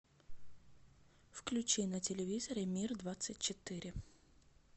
включи на телевизоре мир двадцать четыре